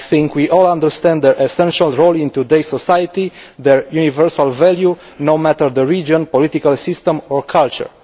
We all understand their essential role in today's society and their universal value no matter what the region, political system or culture.